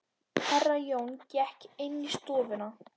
Herra Jón gekk inn í stofuna.